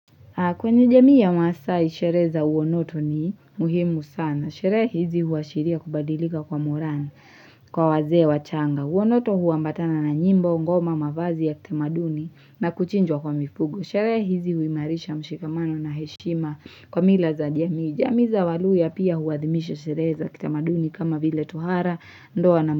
Kwenye jamii ya maasai sherehe za uonoto ni, muhimu sana. Sherehe hizi huashiria kubadilika kwa moran kwa wazee wa changa. Uonoto huambatana na nyimbo, ngoma, mavazi ya kitamaduni na kuchinjwa kwa mifugo. Sherehe hizi huimarisha mshikamano na heshima kwa mila za jamii. Jamii za waluhya pia huadhimisha sherehe za kitamaduni kama vile tohara, ndoa na m.